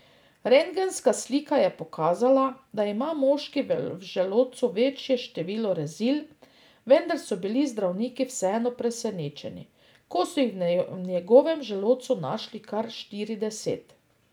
Rentgenska slika je pokazala, da ima moški v želodcu večje število rezil, vendar so bili zdravniki vseeno presenečeni, ko so jih v njegovem želodcu našli kar štirideset.